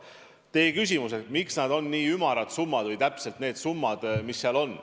Te küsisite, miks need summad on nii ümarad.